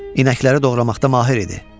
İnəkləri doğramaqda mahir idi.